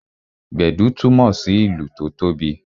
Gbedu túmọ sí ìlù tó tóbi